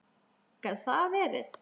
Gat það verið.?